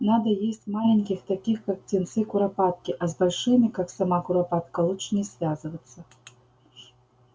надо есть маленьких таких как птенцы куропатки а с большими как сама куропатка лучше не связываться